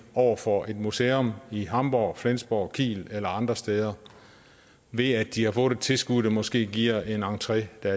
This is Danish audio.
over for et museum i hamborg flensborg kiel eller andre steder ved at de har fået et tilskud der måske giver en entré der